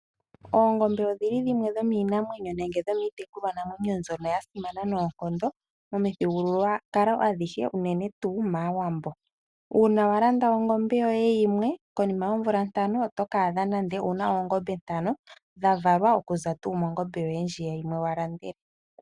Oongombe odhili dhimwe dhomiinamwenyo nenge dhomiitekulwanamwenyo mbyono yasimana noonkondo momithigululwakalo adhihe unene tuu mAawambo . Uuna walanda ongombe yoye yimwe konima yoomvula ntano oto kiiyadha wuna nande dhavalwa okuza mongombe yoye yimwe ndjiya walandele.